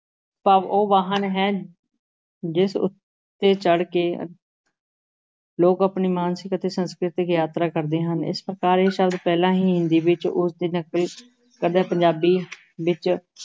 ਭਾਵ ਉਹ ਵਾਹਨ ਹੈ, ਜਿਸ ਉੱਤੇ ਚੜ੍ਹ ਕੇ ਲੋਕ ਆਪਣੀ ਮਾਨਸਿਕ ਤੇ ਸਾਂਸਕ੍ਰਿਤਕ ਯਾਤਰਾ ਕਰਦੇ ਹਨ, ਇਸ ਪ੍ਰਕਾਰ ਇਹ ਸ਼ਬਦ ਪਹਿਲਾਂ ਹੀ ਹਿੰਦੀ ਵਿੱਚ ਉਸ ਦੀ ਨਕਲ ਕਰਦਿਆਂ ਪੰਜਾਬੀ ਵਿੱਚ